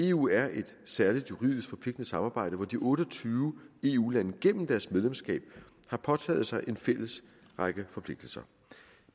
eu er et særligt juridisk forpligtende samarbejde hvor de otte og tyve eu lande gennem deres medlemskab har påtaget sig en række fælles forpligtelser